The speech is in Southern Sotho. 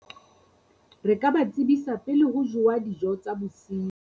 Re ka ba tsebisa pele ho jowa dijo tsa bosiu.